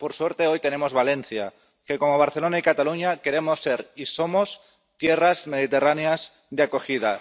Por suerte, hoy tenemos Valencia que, como Barcelona y Cataluña, queremos ser y somos tierras mediterráneas de acogida.